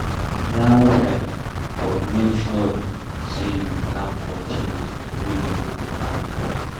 Plan well, but make sure sey you plan for things wey you no plan for